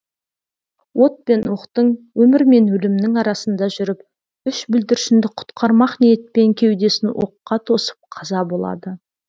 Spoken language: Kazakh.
от пен оқтың өмір мен өлімнің арасында жүріп үш бүлдіршінді құтқармақ ниетпен кеудесін оққа тосып қаза болады